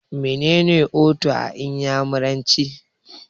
Mene ne 'Otu' a iyamuranci?